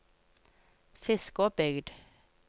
Fiskåbygd